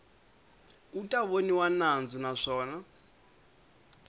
u ta voniwa nandzu naswona